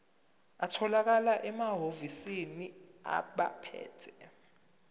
atholakala emahhovisi abaphethe